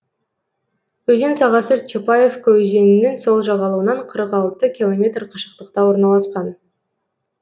өзен сағасы чапаевка өзенінің сол жағалауынан қырық алты километр қашықтықта орналасқан